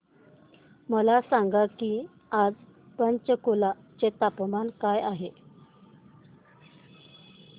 मला सांगा की आज पंचकुला चे तापमान काय आहे